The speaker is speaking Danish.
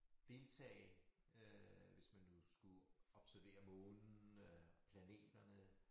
Deltage øh hvis man nu skulle observere månen øh planeterne